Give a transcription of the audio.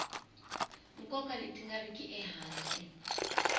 nkoka leti nga riki ehansi